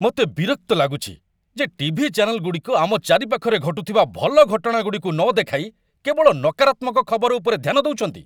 ମୋତେ ବିରକ୍ତ ଲାଗୁଛି ଯେ ଟିଭି ଚ୍ୟାନେଲଗୁଡ଼ିକ ଆମ ଚାରିପାଖରେ ଘଟୁଥିବା ଭଲ ଘଟଣାଗୁଡ଼ିକୁ ନ ଦେଖାଇ କେବଳ ନକାରାତ୍ମକ ଖବର ଉପରେ ଧ୍ୟାନ ଦେଉଛନ୍ତି!